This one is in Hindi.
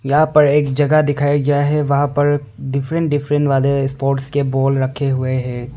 यहां पर एक जगह दिखाया गया है वहां पर डिफरेंट डिफरेंट वाले स्पोर्ट्स के बाल रखे हुए हैं।